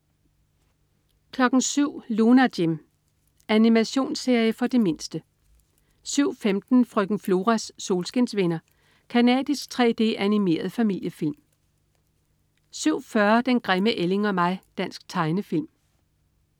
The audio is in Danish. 07.00 Lunar Jim. Animationsserie for de mindste 07.15 Frøken Floras solskinsvenner. Canadisk 3D-animeret familiefilm 07.40 Den grimme ælling og mig. Dansk tegnefilm